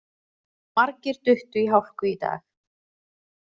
Margir duttu í hálku í dag